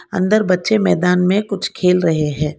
अंदर बच्चे मैदान में कुछ खेल रहे हैं।